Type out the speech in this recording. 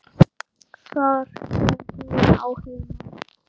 Þar sem hún á heima.